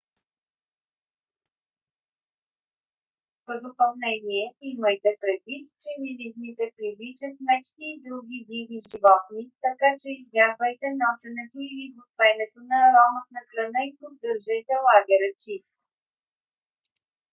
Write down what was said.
в допълнение имайте предвид че миризмите привличат мечки и други диви животни така че избягвайте носенето или готвенето на ароматна храна и поддържайте лагера чист